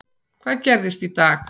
Hvað gerist í dag?